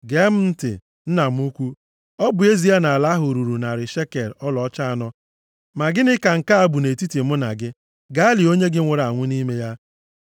“Gee m ntị, nna m ukwu, ọ bụ ezie na ala ahụ ruru narị shekel ọlaọcha anọ, ma gịnị ka nke a bụ nʼetiti mụ na gị? Gaa lie onye gị nwụrụ anwụ nʼime ya.”